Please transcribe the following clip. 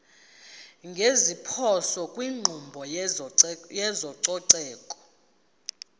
ngeziphoso kwinkqubo yezococeko